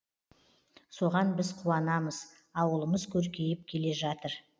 соған біз қуанамыз ауылымыз көркейіп келе жатыр